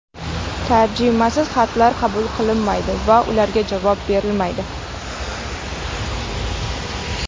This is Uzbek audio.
Tarjimasiz xatlar qabul qilinmaydi va ularga javob berilmaydi.